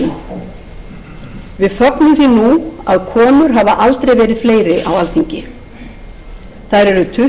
nú að konur hafa aldrei verið fleiri á alþingi þær eru tuttugu og sjö